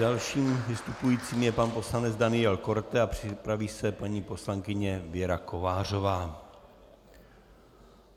Dalším vystupujícím je pan poslanec Daniel Korte a připraví se paní poslankyně Věra Kovářová.